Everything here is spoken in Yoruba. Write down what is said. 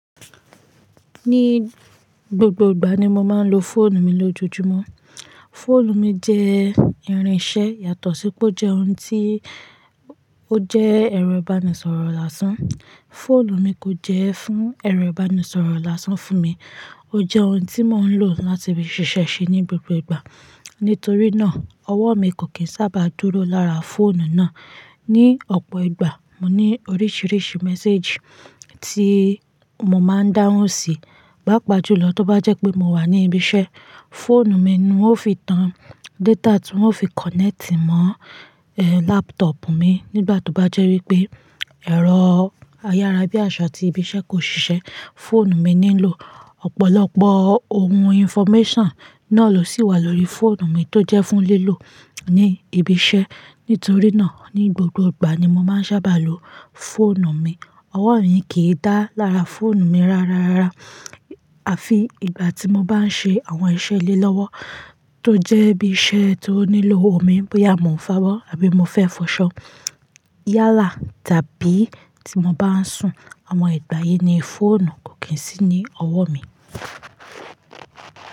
Ní gbogbo ìgbà ni mo máa ń lo fóònù mi lójoojúmọ́. Fóònù mi jẹ́ irinṣẹ́ yàtọ̀ sí pé ó jẹ́ ohun tí ó jẹ́ ẹ̀rọ ìbánisọ̀rọ̀ lásán. Fóònù mi kò jẹ́ fún ẹ̀rọ ìbánisọ̀rọ̀ lásán fún mi. Ó jẹ́ ohun tí mò ń lò láti fi ṣiṣẹ́ ṣe ní gbogbo ìgbà. Nítorí náà, ọwọ́ mi kò kí ń sábà dúró lára fóònù náà. Ni ọ̀pọ̀ ìgbà, mo ní oríṣiríṣi méséjì tí mo máa ń dáhùn sí, pápa jùlọ tó bá jẹ́ pé mo wà ní ibi iṣẹ́. Fóònù mi ni wọ́n fi tan data tí wọ́n fi kọ́nẹ́tì mọ́, e, lápútọ̀ọ̀pù mi nígbà tó bá jẹ́ wípé ẹ̀rọ ayára bí àṣá tí ibi iṣẹ́ kò ṣiṣẹ́. Fóònù mi nílò ọ̀pọ̀lọpọ̀ ohun infómẹ́sàn náà ló sì wà lórí fóònù mi tó jẹ́ fún lílò ní ibi iṣẹ́. Nítorí náà, ní gbogbo ìgbà ni mo máa ń sábà lo fóònù mi. Ọwọ́ mi kì í dà lára fóònù mi rárárárá. Àfi ìgbà tí mo bá ń ṣe àwọn iṣẹ́ ilé lọ́wọ́ tó jẹ́ bí iṣẹ́ tó nílò omi bóyá mo ń fo abo àbí mo fẹ́ fọṣọ, yálà tàbí tí mo bá ń sùn. Àwọn ìgbà yìí ni fóònù kò kí ń sí ní ọwọ́ mi.